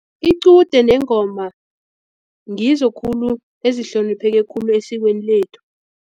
Iqude nengoma ngizo khulu ezihlonipheke khulu esikweni lethu.